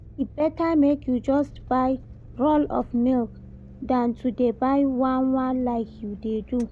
E better make you just buy roll of milk than to dey buy one one like you dey do